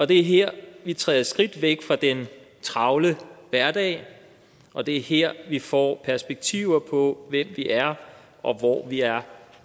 det er her vi træder et skridt væk fra den travle hverdag og det er her vi får perspektiver på hvem vi er og hvor vi er